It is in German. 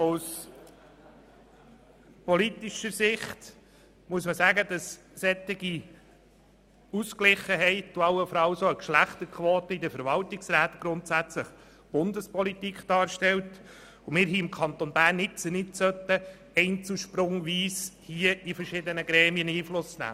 Aus politischer Sicht stellt eine solche Ausgeglichenheit und allenfalls auch eine Geschlechterquote in den Verwaltungsräten grundsätzlich Bundespolitik dar, und wir können hier im Kanton Bern nun nicht einzelsprungweise Einfluss auf verschiedene Gremien nehmen.